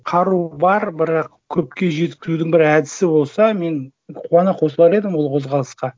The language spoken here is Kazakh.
қару бар бірақ көпке жеткізудің бір әдісі болса мен қуана қосылар едім ол қозғалысқа